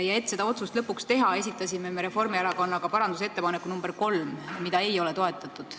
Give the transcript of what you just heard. Ja et see otsus lõpuks teha, esitasime Reformierakonnaga parandusettepaneku nr 3, mida ei ole toetatud.